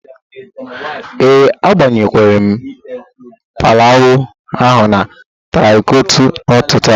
Ee, agbakwụnyere m plawụ ahụ na traktọ n'ụtụtụ a